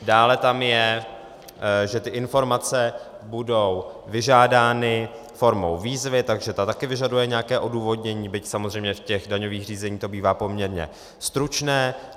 Dále tam je, že ty informace budou vyžádány formou výzvy, takže ta taky vyžaduje nějaké odůvodnění, byť samozřejmě v těch daňových řízeních to bývá poměrně stručné.